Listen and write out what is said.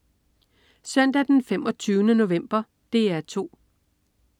Søndag den 25. november - DR 2: